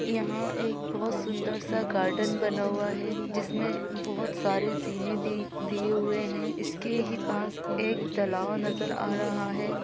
यहाँ एक बहुत सुंदर सा गार्डन बना हुआ है जिसमें बहुत सारे जीने दि-दिए हुए है इसके ही पास एक तालाब नजर आ रहा है।